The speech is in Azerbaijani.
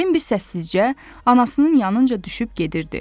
Binbi səssizcə anasının yanınca düşüb gedirdi.